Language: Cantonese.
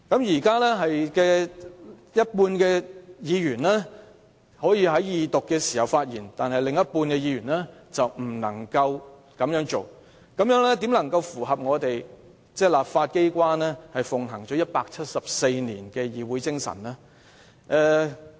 現在只有半數議員可以在二讀辯論時發言，但另半數議員不能夠發言，這樣怎能符合本地立法機關奉行了174年的議會精神呢？